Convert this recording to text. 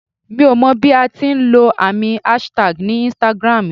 Mi ò mọ bí a ti ń lọ àmì aṣtagi ní Instagram ù.